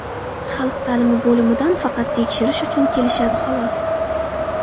Xalq ta’limi bo‘limidan faqat tekshirish uchun kelishadi, xolos.